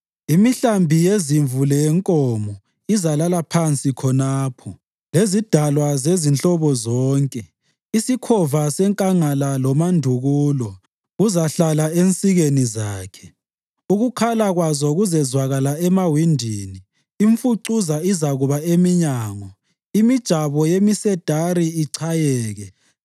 Imihlambi yezimvu leyenkomo izalala phansi khonapho, lezidalwa zezinhlobo zonke. Isikhova senkangala lomandukulo kuzahlala ensikeni zakhe. Ukukhala kwazo kuzezwakala emawindini, imfucuza izakuba eminyango, imijabo yemisedari ichayeke.